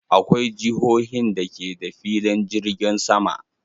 Akwai jihohin da ke da filin jirgin sama.